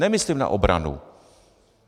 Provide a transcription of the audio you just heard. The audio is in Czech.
Nemyslím na obranu.